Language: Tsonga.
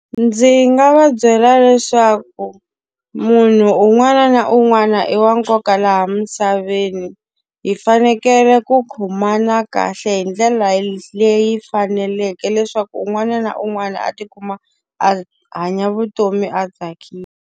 Ndzi nga va byela leswaku munhu un'wana na un'wana i wa nkoka laha misaveni, hi fanekele ku khomana kahle hi ndlela leyi faneleke leswaku un'wana na un'wana a ti kuma a hanya vutomi a tsakile.